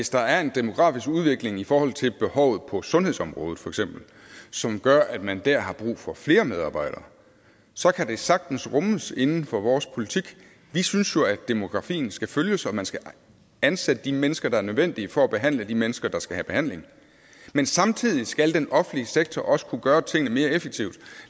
der er en demografisk udvikling i forhold til behovet på sundhedsområdet som gør at man dér har brug for flere medarbejdere så kan det sagtens rummes inden for vores politik vi synes jo at demografien skal følges og at man skal ansætte de mennesker der er nødvendige for at behandle de mennesker der skal have behandling men samtidig skal den offentlige sektor også kunne gøre tingene mere effektivt